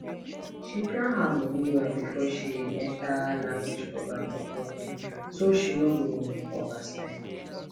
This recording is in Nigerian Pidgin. she plan her money well before she enter language program for tokyo so she no go overspend